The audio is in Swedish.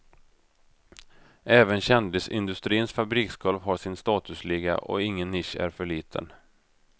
Även kändisindustrins fabriksgolv har sin statusliga och ingen nisch är för liten.